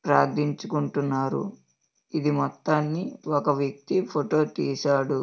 ప్రార్ధించు కుంటున్నారు. ఇది మొత్తని ఒక వ్యక్తి ఫోటో తీసాడు.